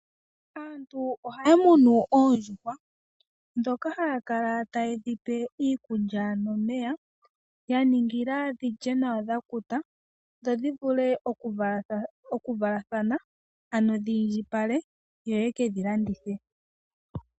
Aantu ohaya munu oondjuhwa ndhoka haya kala tayedhi pe iikulya nomeya, ya ningila dhilye nawa dha kuta, dho dhivule oku valathana, ano dhi indjipale yo ye kedhi landithe.